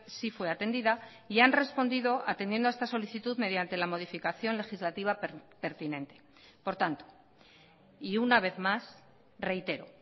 sí fue atendida y han respondido atendiendo a esta solicitud mediante la modificación legislativa pertinente por tanto y una vez más reitero